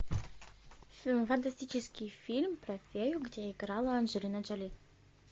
фантастический фильм про фею где играла анджелина джоли